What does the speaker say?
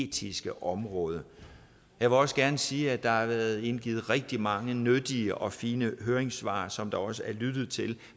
etiske område jeg vil også gerne sige at der har været indgivet rigtig mange nyttige og fine høringssvar som der også er lyttet til